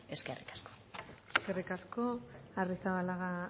eskerrik asko eskerrik asko arrizabalaga